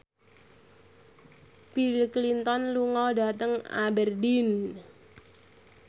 Bill Clinton lunga dhateng Aberdeen